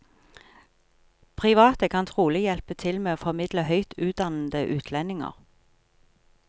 Private kan trolig hjelpe til med å formidle høyt utdannede utlendinger.